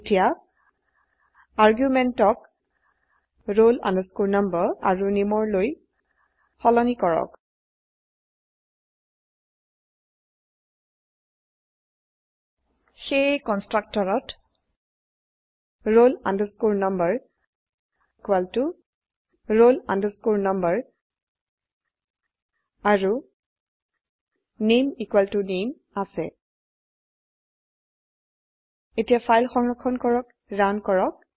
এতিয়া আৰ্গুমেন্টক roll number আৰু nameৰ লৈ সলনি কৰক সেয়ে কন্সট্ৰকটৰত roll number roll number আৰুname নামে আছে এতিয়া ফাইল সংৰক্ষণ কৰি ৰান কৰক